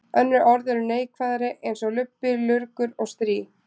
Önnur orð eru neikvæðari eins og lubbi, lurgur og strý.